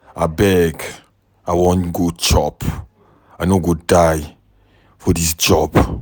Abeg I wan go chop, I no go die for dis job.